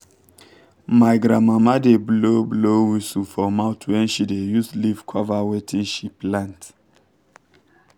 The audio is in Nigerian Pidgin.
my grandmama da blow blow whisu for mouth when she da use leave cover wetin she plant